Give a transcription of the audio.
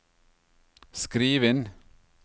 skriv inn